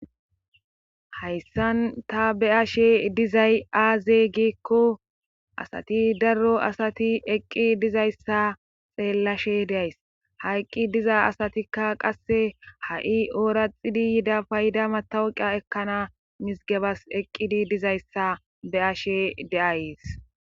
hayssan ta be ashe dizay aaze giekko asati darro asati eqqi dizayssa xeellashe deays hayqqi diza asatikka qasse ha7i ooraxidi yida payda matawuqa ekkana misgebas eqqidi dizayssa be7ashe de'ayes.